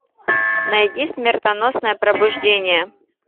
найди смертоносное пробуждение